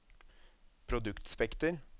produktspekter